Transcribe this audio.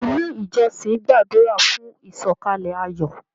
Ilé ìjọsìn gbàdúrà fún ìṣọ̀kalẹ̀ ayọ.